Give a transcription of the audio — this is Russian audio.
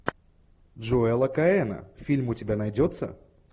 джоэла коэна фильм у тебя найдется